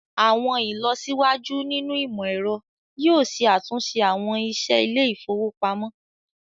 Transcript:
Awọn ilọsiwaju nínu imọ̀-ẹ̀rọ̀ yoo ṣẹ̀ àtunṣe awọn iṣẹ ilẹ̀-ifowopamọ̀.